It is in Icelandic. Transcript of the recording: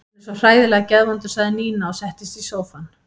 Hann er svo hræðilega geðvondur sagði Nína og settist í sófann.